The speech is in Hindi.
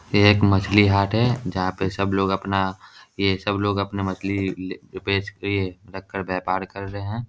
ये एक मछली हाट है जहाँ पे सबलोग अपना ये सबलोग अपना मछली ले बेच के रख कर व्यपार कर रहे है।